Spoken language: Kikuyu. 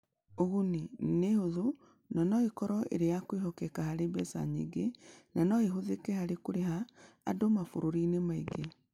Ũguni: Nĩ ĩhũthũ na no ĩkorũo ĩrĩ ya kwĩhokeka harĩ mbeca nyingĩ, na no ĩhũthĩke harĩ kũrĩha andũ mabũrũri-inĩ mangĩ